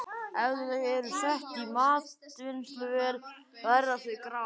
Ef þau eru sett í matvinnsluvél verða þau grá.